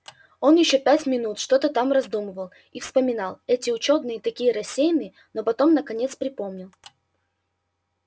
он ещё минут пять что-то там раздумывал и вспоминал эти учёные такие рассеянные но потом наконец припомнил